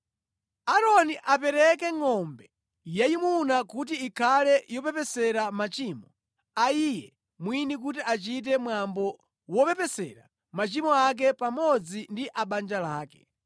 “Aaroni apereke ngʼombe yayimuna kuti ikhale yopepesera machimo a iye mwini kuti achite mwambo wopepesera machimo ake pamodzi ndi a banja lake.